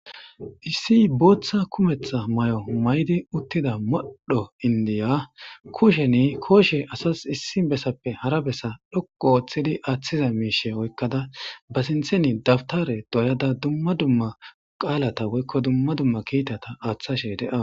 issi booththa kumetha may7o maydi uttida modddho indiya kusheni kooshe asas issi bessappe hara bessa dhokko ooththidi aaththiza miishe oykkada ba sintheni dabtare doyada dumma dumma qaalata woykko dumma dumma kiitata aaththashe de7awa